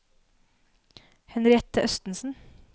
Henriette Østensen